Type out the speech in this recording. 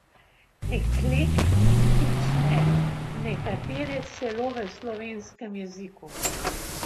Eklektične, nekatere celo v slovenskem jeziku.